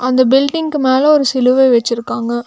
அந்த பில்டிங்கு மேல ஒரு சிலுவை வெச்சுருக்காங்க.